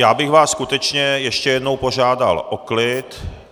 Já bych vás skutečně ještě jednou požádal o klid.